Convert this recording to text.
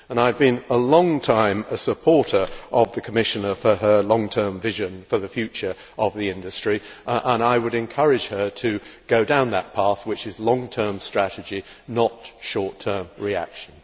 I have been a long time supporter of the Commissioner for her long term vision for the future of the industry, and I would encourage her to go down that path, which is long term strategy, not short term reaction.